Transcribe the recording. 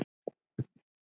Þeir vilja að þú farir.